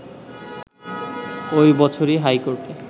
ওই বছরই হাইকোর্টে